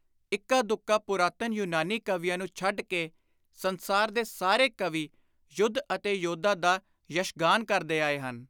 ਇੱਕਾ ਦੁੱਕਾ ਪੁਰਾਤਨ ਯੂਨਾਨੀ ਕਵੀਆਂ ਨੂੰ ਛੱਡ ਕੇ ਸੰਸਾਰ ਦੇ ਸਾਰੇ ਕਵੀ ਯੁੱਧ ਅਤੇ ਯੋਧਾ ਦਾ ਯਸ਼ਗਾਨ ਕਰਦੇ ਆਏ ਹਨ।